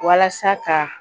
Walasa ka